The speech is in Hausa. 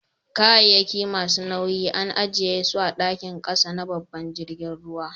Kayakin masu nau'in an ajie su a'dakin kasa na babban jirigin ruwan.